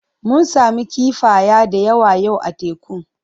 Mun sami kifaya da yawa yau a tekun.